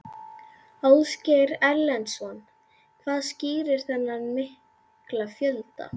Ásgeir Erlendsson: Hvað skýrir þennan mikla fjölda?